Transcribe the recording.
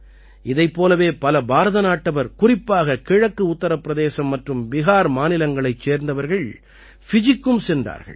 இதைப் போலவே பல பாரத நாட்டவர் குறிப்பாக கிழக்கு உத்திர பிரதேசம் மற்றும் பிஹார் மாநிலங்களைச் சேர்ந்தவர்கள் ஃபிஜிக்கும் சென்றார்கள்